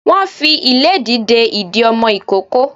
Wọ́n fi ìlédìí de ìdí ọmọ ìkókó